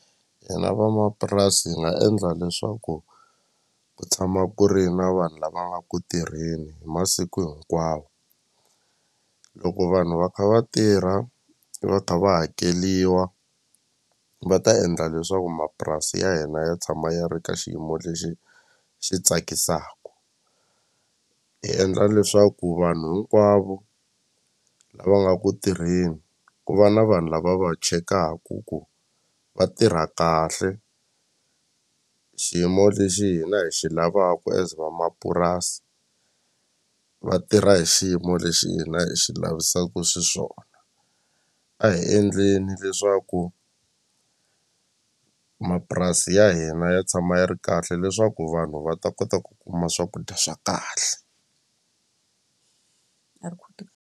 Hina vamapurasi hi nga endla leswaku ku tshama ku ri na vanhu lava nga ku tirheni hi masiku hinkwawo loko vanhu va kha va tirha va kha va hakeliwa va ta endla leswaku mapurasi ya hina ya tshama ya ri ka xiyimo lexi xi tsakisaku hi endla leswaku vanhu hinkwavo lava nga ku tirheni ku va na vanhu lava va chekaku ku va tirha kahle xiyimo lexi hina hi xi lavaka as vamapurasi va tirha hi xiyimo lexi hina hi xi lavisaku xiswona a hi endleni leswaku mapurasi ya hina yi tshama yi ri kahle leswaku vanhu va ta kota ku kuma swakudya swa kahle .